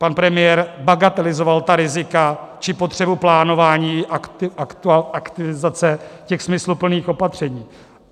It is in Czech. - pan premiér bagatelizoval ta rizika či potřebu plánování, aktivizace těch smysluplných opatření.